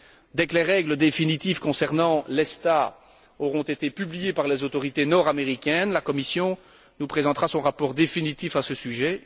Dès que les règles définitives concernant l'ESTA auront été publiées par les autorités nord américaines, la Commission nous présentera son rapport définitif à ce sujet.